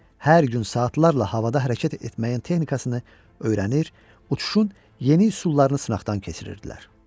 Hər gün saatlarla havada hərəkət etməyin texnikasını öyrənir, uçuşun yeni üsullarını sınaqdan keçirirdilər.